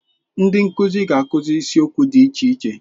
Ndị nkuzi ga-akụzi isiokwu dị iche iche.